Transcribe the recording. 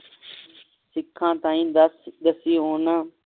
ਸਿਖਾਂ ਤਾਹਿ ਦੱਸੀ ਓਹਨਾ